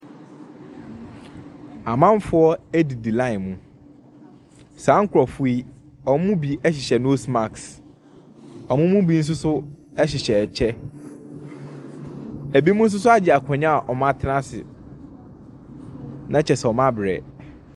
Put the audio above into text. Amanfoɔ didi line mu. Saa nkurɔfoɔ yi, wɔn mu bi hyehyɛ nose mask. Wɔn mu bi nso so hyehyɛ ɛkyɛ. Binom nso so agye akonnwa a wɔatena ase, na kyerɛ sɛ wɔabrɛ.